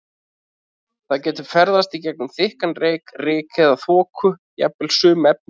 Það getur ferðast í gegnum þykkan reyk, ryk eða þoku og jafnvel sum efni.